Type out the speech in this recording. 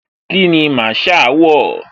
Kíni Masaa wọ̀?